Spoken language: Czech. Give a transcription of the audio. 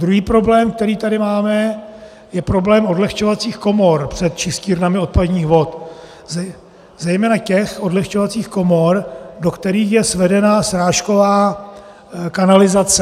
Druhý problém, který tady máme, je problém odlehčovacích komor před čistírnami odpadních vod, zejména těch odlehčovacích komor, do kterých je svedena srážková kanalizace.